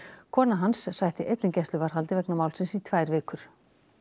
kona hans sætti einnig gæsluvarðhaldi vegna málsins í tvær vikur